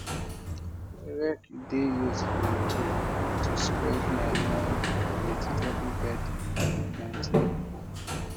rake dey useful tool to spread manure for vegetable bed dem plant new